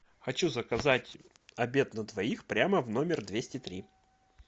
хочу заказать обед на двоих прямо в номер двести три